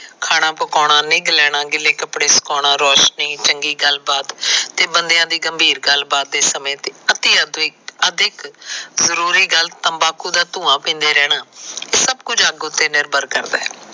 ਖਾਣਾ ਪਕਾਉਣਾ, ਨਿੱਘ ਲੈਣਾ, ਗਿੱਲੇ ਕੱਪੜੇ ਸਕਾਉਣਾ, ਰੋਸ਼ਨੀ, ਚੰਗੀ ਗੱਲਬਾਤ ਤੇ ਬੰਦਿਆਂ ਦੀ ਗੰਭੀਰ ਗੱਲਬਾਤ ਦੇ ਸਮੇਂ ਤੇ ਅਤਿ ਅਧਿਕ ਅਧਿਕ ਜਰੂਰੀ ਗੱਲ ਤੰਬਾਕੂ ਦਾ ਧੂਆਂ ਪੀਦੇਂ ਰਹਿਣਾ ਸਭ ਕੁਝ ਅੱਗ ਉਤੇ ਨਿਰਭਰ ਕਰਦਾ ਹੈ।